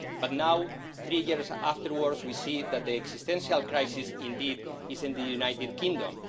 But now, three years afterwards we see that the existential crisis indeed is in the United Kingdom.